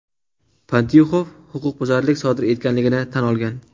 Pantyuxov huquqbuzarlik sodir etganligini tan olgan.